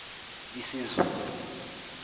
isizulu